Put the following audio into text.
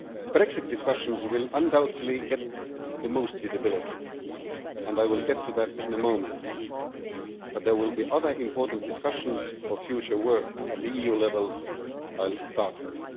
Brexit discussions will undoubtedly get the most visibility, and I will get to that in a moment, but there will be other important discussions for future work at the EU level that I will start with.